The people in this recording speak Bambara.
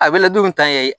A bɛ ladon tan ye